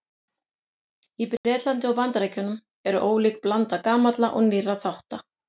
Í Bretlandi og Bandaríkjunum er ólík blanda gamalla og nýrra þátta.